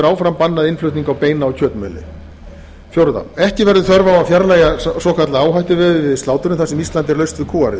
áfram bannað innflutning á beina og kjötmjöli fjórða ekki verður þörf á að fjarlægja svokallað áhættuveð við slátrun þar sem ísland er laust við kúariðu